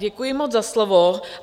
Děkuji moc za slovo.